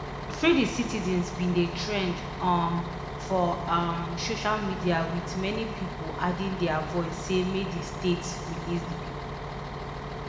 freethecitizens bin dey trend um for um social media wit many pipu adding dia voice say make di state release di pipu